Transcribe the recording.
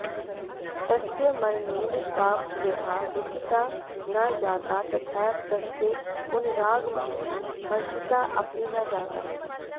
तस्य मरणेन सा यथा दुःखिता न जाता तथैव तस्य पुनरागमनेन हर्षिता अपि न जाता